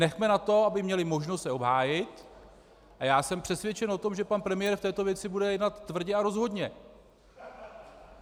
Nechme na to, aby měli možnost se obhájit, a já jsem přesvědčen o tom, že pan premiér v této věci bude jednat tvrdě a rozhodně.